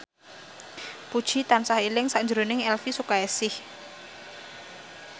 Puji tansah eling sakjroning Elvi Sukaesih